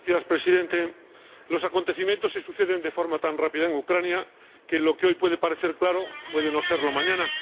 Señor Presidente, los acontecimientos se suceden de forma tan rápida en Ucrania que lo que hoy puede parecer claro puede no serlo mañana.